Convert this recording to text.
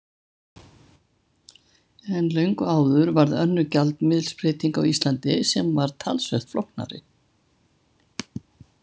En löngu áður varð önnur gjaldmiðilsbreyting á Íslandi sem var talsvert flóknari.